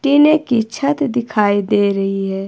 टीने की छत दिखाई दे रही है।